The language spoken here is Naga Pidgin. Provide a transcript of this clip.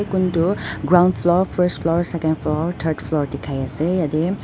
kuntu ground floor first floor second floor third floor dikhaiase yate.